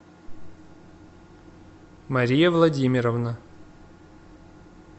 мария владимировна